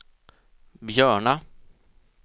Björna